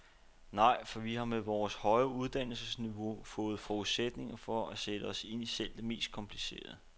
Nej, for vi har med vores højere uddannelsesniveau fået forudsætninger for at sætte os ind i selv det mest komplicerede.